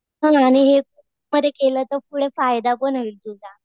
हा आणि हे मध्ये केलं तर पुढं फायदा पण होईल तुझा.